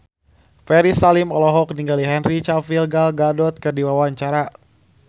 Ferry Salim olohok ningali Henry Cavill Gal Gadot keur diwawancara